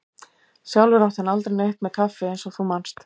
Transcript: Sjálfur átti hann aldrei neitt með kaffi eins og þú manst.